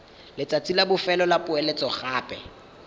letsatsi la bofelo la poeletsogape